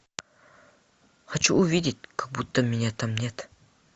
хочу увидеть как будто меня там нет